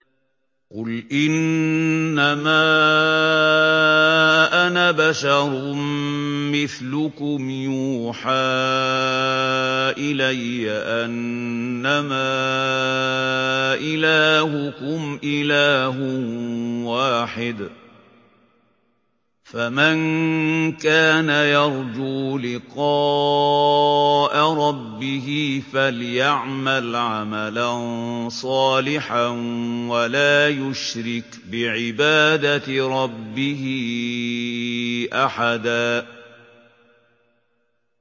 قُلْ إِنَّمَا أَنَا بَشَرٌ مِّثْلُكُمْ يُوحَىٰ إِلَيَّ أَنَّمَا إِلَٰهُكُمْ إِلَٰهٌ وَاحِدٌ ۖ فَمَن كَانَ يَرْجُو لِقَاءَ رَبِّهِ فَلْيَعْمَلْ عَمَلًا صَالِحًا وَلَا يُشْرِكْ بِعِبَادَةِ رَبِّهِ أَحَدًا